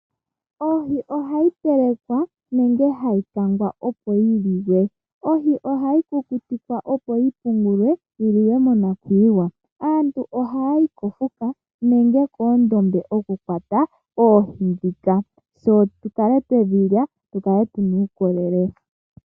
Ohi ohayi telekwa, nenge hayi kangwa opo yi liwe. Ohi ohayi kukutikwa opo yi pungulwe, yiliwe monakuyiwa. Aantu ohaayi kofuka nenge koondombe okukwata oohi dhoka, tse tukale twedhilya, tukale tuna uukolele.